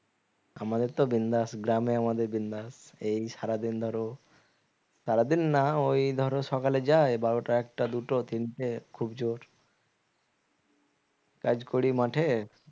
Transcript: আমাদের তো বিন্দাস গ্রামে আমাদের বিন্দাস এই সারাদিন ধরো সারাদিন না ওই ধরো সকালে যায় বারোটা একটা দুটো তিনটে খুব জোর কাজ করি মাঠে